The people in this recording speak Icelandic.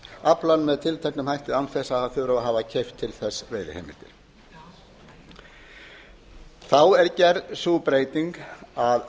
aflann með tilteknum hætti án þess að þurfa að hafa keypt til þess veiðiheimildir þá er gerð sú breyting að